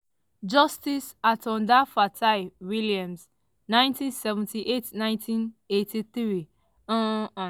justice atanda fatai-williams - 1979- 1983 um hon.